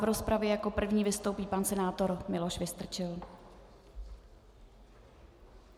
V rozpravě jako první vystoupí pan senátor Miloš Vystrčil.